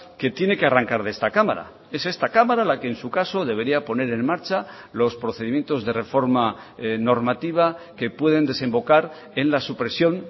que tiene que arrancar de esta cámara es esta cámara la que en su caso debería poner en marcha los procedimientos de reforma normativa que pueden desembocar en la supresión